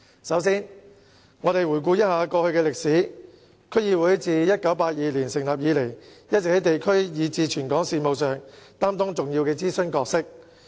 首先，回顧過去的歷史，區議會自1982年成立以來，一直也在地區以至全港事務上擔當重要的諮詢角色。